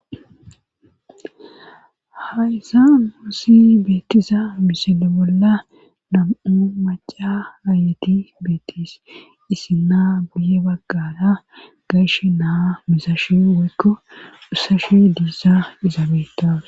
haysa muussi beetisa misele bolla nam7u maca aayeti beetis isi naa buye baggada gayshe naa misashi woykko dhussashu diisa izaabeta